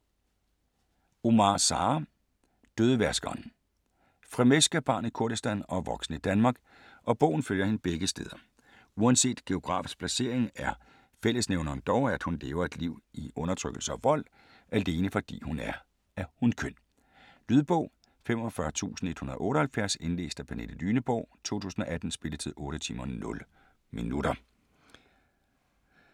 Omar, Sara: Dødevaskeren Frmesk er barn i Kurdistan og voksen i Danmark, og bogen følger hende begge steder. Uanset geografisk placering er fællesnævneren dog, at hun lever et liv i undertrykkelse og vold - alene fordi hun er af hunkøn. Lydbog 45178 Indlæst af Pernille Lyneborg, 2018. Spilletid: 8 timer, 0 minutter.